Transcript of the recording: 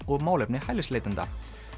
og málefni hælisleitenda